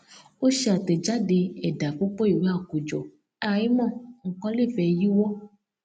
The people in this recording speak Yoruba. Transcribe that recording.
ó ṣe àtẹjáde ẹdà púpọ ìwé àkójọ àìmọ nnkan lè fẹ yíwọ